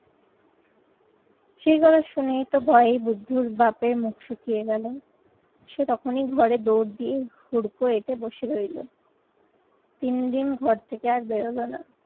সেই কথা শুনেই তো ভয়ে বুদ্ধর বাপের মুখ শুকিয়ে গেল। সে তখনই ঘরে দৌড় দিয়ে হুড়কো এঁটে বসে রইলো। তিনদিন ঘর থেকে আর বেরোলো না।